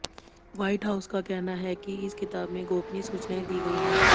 white House का कहना है कि इस किताब में गोपनीय सूचनाएं दी गई हैं